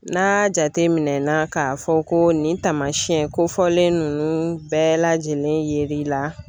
N'a jateminɛ na k'a fɔ ko nin taamasiyɛn kofɔlen ninnu bɛɛ lajɛlen ye l'i la.